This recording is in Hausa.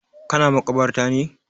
Ka na makabarta ne?